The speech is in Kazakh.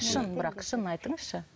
шын бірақ шын айтыңызшы